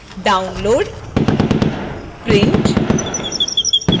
download print